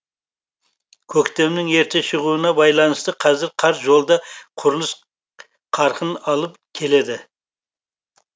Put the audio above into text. көктемнің ерте шығуына байланысты қазір қар жолда құрылыс қарқын алып келеді